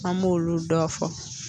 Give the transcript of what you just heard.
An b'olu dɔ fɔ